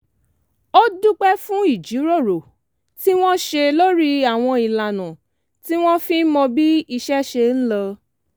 ó dúpẹ́ fún ìjíròrò tí wọ́n ṣe lórí àwọn ìlànà tí wọ́n fi ń mọ bí iṣẹ́ ṣe ń lọ